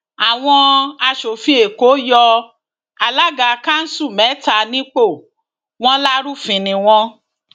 àwọn aṣòfin èkó yọ alága kanṣu mẹta nípò wọn lárúfin ni wọn